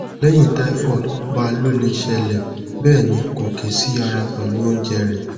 lehin tyhoid ba lo o le sele be ni ko kesi ara pelu ounje re